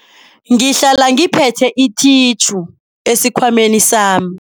Ngihlala ngiphethe ithitjhu esikhwameni sami.